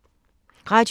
Radio 4